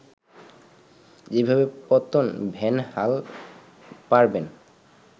যেভাবে পতন ভ্যান হাল পারবেন